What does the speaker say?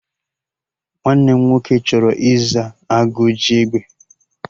Nwanne m nwoke chọrọ ịza 'Agụ ji egbe'